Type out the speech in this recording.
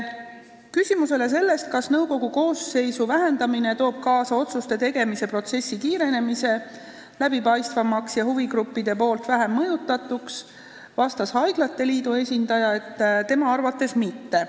Küsimusele, kas nõukogu koosseisu vähendamine toob kaasa otsuste tegemise protsessi kiirenemise, läbipaistvamaks muutumise ja huvigruppide mõju vähenemise, vastas haiglate liidu esindaja, et tema arvates mitte.